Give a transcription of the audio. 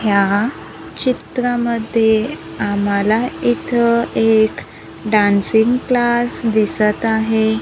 या चित्रामध्ये आम्हाला इथं एक डान्सिंग क्लास दिसतं आहे.